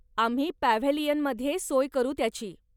आम्ही पॅव्हेलीयनमध्ये सोय करू त्याची.